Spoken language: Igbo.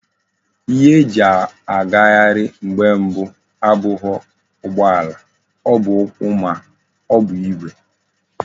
Ihe eji agaghari mgbe mbu abughi ugbo ala, o bu ukwu ma ọ bụ Igwe.